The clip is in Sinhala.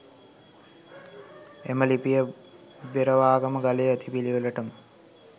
එම ලිපිය, බෙරවාගම ගලේ ඇතිපිළිවෙළටම